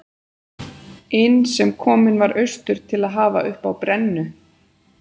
inn sem kominn var austur til að hafa uppi á brennu